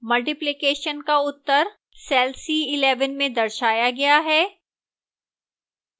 multiplication का उत्तर cell c11 में दर्शाया गया है